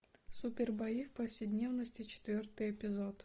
супербои в повседневности четвертый эпизод